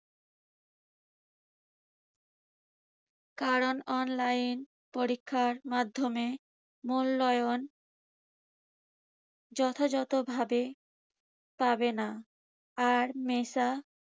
কারণ online পরীক্ষার মাধ্যমে মূল্যায়ন যথাযথভাবে পাবে না। আর মেসা